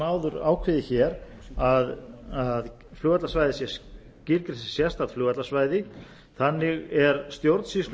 áður ákveðið hér að flugvallarsvæðið sé skilgreint sem sérstakt flugvallarsvæði þannig er stjórnsýslu